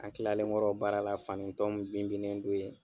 An kilalenkɔrɔ baara la fanintɔ min bin binnen don ye